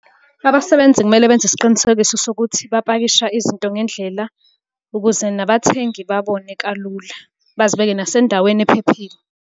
Abasebenzi kumele benze isiqinisekiso sokuthi bapakisha izinto ngendlela, ukuze nabathengi babone kalula, bazibeke nasendaweni ephephile.